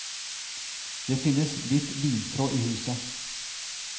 Det finnes litt lintråd i huset.